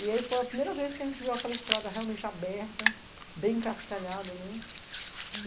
E aí foi a primeira vez que a gente viu aquela estrada realmente aberta, bem cascalhada, né?